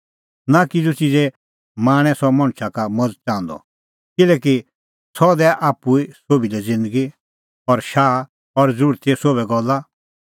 नां किज़ू च़िज़े लाल़च़ै सह मणछा का मज़त च़ाहंदअ किल्हैकि सह दैआ आप्पू ई सोभी लै ज़िन्दगी शाह और ज़रूरतीए सोभै गल्ला